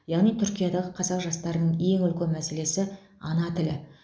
яғни түркиядағы қазақ жастарының ең үлкен мәселесі ана тілі